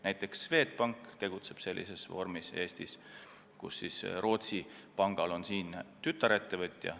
Näiteks Swedbank tegutseb Eestis sellises vormis, Rootsi pangal on siin tütarettevõtja.